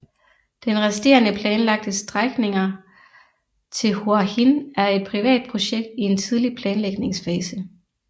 Den resterende planlagte strækninger til Hua Hin er et privat projekt i en tidlig planlægningsfase